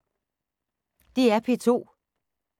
DR P2